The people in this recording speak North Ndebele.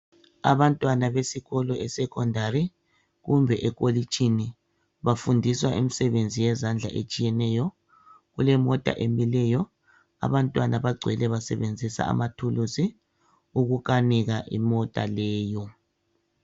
Abantwana besikolo esecondary kumbe ekolitshini bafundiswa imisebenzi yezandla etshiyeneyo kulemota emileyo abantwana bagcwele basebenzisa amathuluzi okukanika imota leyo.